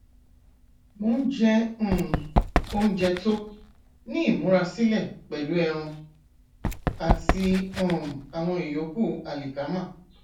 mo ń jẹ um oúnjẹ tó ní ìmúrasílè pẹlú ẹran àti um àwọn ìyókù àlìkámà